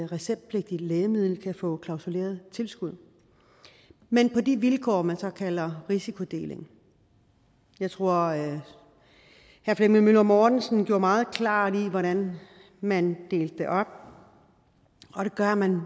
receptpligtigt lægemiddel kan få klausuleret tilskud men på de vilkår man så kalder risikodeling jeg tror herre flemming møller mortensen gjorde det meget klart hvordan man delte det op og det gør man